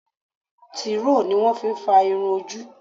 Tíìrò ni wón fi ń fa irun ojú.